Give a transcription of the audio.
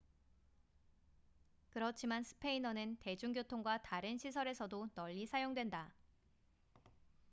그렇지만 스페인어는 대중교통과 다른 시설에서도 널리 사용된다